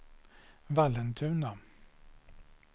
Vallentuna